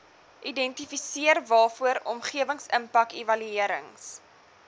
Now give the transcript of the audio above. identifiseer waarvoor omgewingsimpakevaluerings